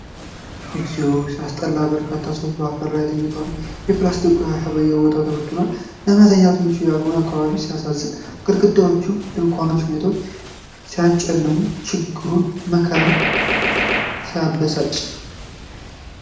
እግዚኦ ሲያስጠላ! በርካታ ሰዎች በአፈር ላይ ተኝተዋል። ፕላስቲኮችና ቆሻሻ በየቦታው ተበታትኗል። ለመተኛት ምቹ ያልሆነ አካባቢ ሲያሳዝን! ግድግዳዎችና ድንኳኖች ሁኔታውን ሲያጨልሙ! ችግሩና መከራው ሲያበሳጭ!